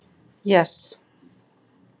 Jes